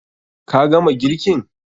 Ka gama girkin?